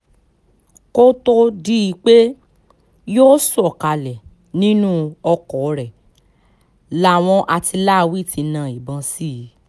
kó tóó di pé yóò sọ̀kalẹ̀ nínú ọkọ rẹ làwọn àtìláàwí ti na ìbọn sí i